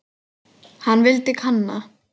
Hann vildi kanna.